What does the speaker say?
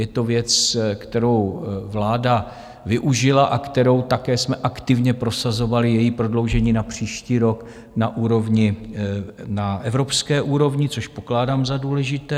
Je to věc, kterou vláda využila a kterou také jsme aktivně prosazovali, její prodloužení na příští rok na úrovni, na evropské úrovni, což pokládám za důležité.